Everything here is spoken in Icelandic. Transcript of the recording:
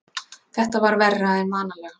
Þetta var verra en vanalega.